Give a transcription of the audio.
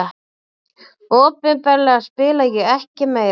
Opinberlega spila ég ekki meira.